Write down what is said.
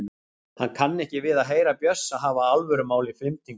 Hann kann ekki við að heyra Bjössa hafa alvörumál í flimtingum.